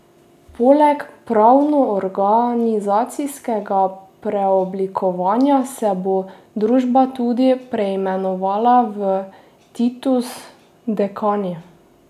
Poleg pravnoorganizacijskega preoblikovanja se bo družba tudi preimenovala v Titus Dekani.